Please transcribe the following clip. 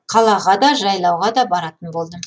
қалаға да жайлауға да баратын болдым